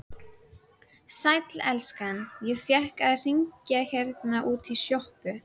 Sæll elskan, ég fékk að hringja hérna útí sjoppu.